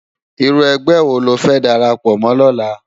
Irú ègbè wó ló fè dàrápò mò lòlá?